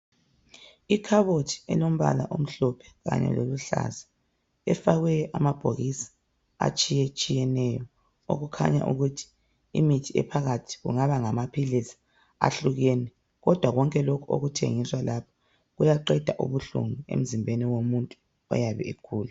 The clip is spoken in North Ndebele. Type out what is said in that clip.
Ikhabothi elombala omhlophe kanye loluhlaza efakwe amabhokisi atshiyetshiyeneyo okukhanya ukuthi imithi ephakathi kungaba ngamaphilisi ahlukene, kodwa konke lokhu okuthengiswa lapha kuyaqeda ubuhlungu emzimbeni womuntu oyabe egula.